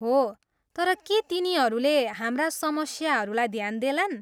हो, तर के तिनीहरूले हाम्रा समस्याहरूलाई ध्यान देलान्?